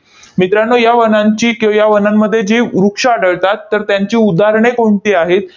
मित्रांनो, या वनांची किंवा या वनांमध्ये जे वृक्ष आढळतात, तर त्यांचे उदाहरणे कोणती आहेत?